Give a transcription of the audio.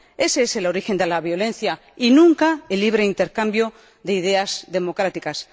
Ese es el origen de la violencia, y nunca el libre intercambio de ideas democráticas.